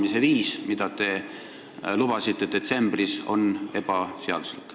Teiselt poolt on minuni jõudnud teiste õigusekspertide hinnang, mille kohaselt see oli seaduslik.